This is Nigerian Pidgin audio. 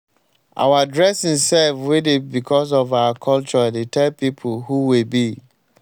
our dressing sef wey dey becos of our culture dey tell pipo who we be.